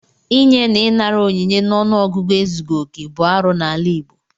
Inye na ịnara onyinye n'ọnụọgụgụ ezughị okè bụ arụ n'ala Igbo.